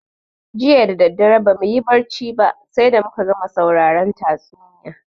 Jiya dadadare bamuyi barci ba sai da muka gama sauraron tatsuniya